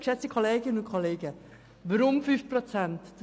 Das ist kein Teppichhandel!